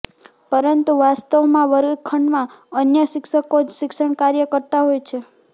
પરંતુ વાસ્તવમાં વર્ગખંડમાં અન્ય શિક્ષકો જ શિક્ષણકાર્ય કરતાં હોય છે